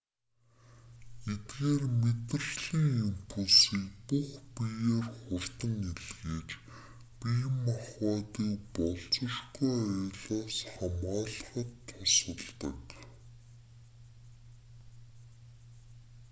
эдгээр мэдрэлийн импульсийг бүх биеэр хурдан илгээж бие махбодыг болзошгүй аюулаас хамгаалахад тусалдаг